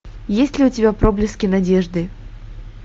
есть ли у тебя проблески надежды